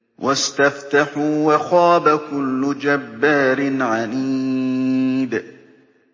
وَاسْتَفْتَحُوا وَخَابَ كُلُّ جَبَّارٍ عَنِيدٍ